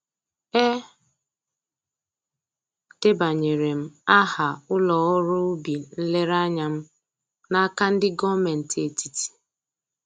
E debanyere m aha ụlọ ọrụ ubi nlereanya m n'aka ndị gọmentị etiti